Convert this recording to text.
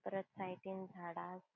परत साइडीन झाड़ा असा.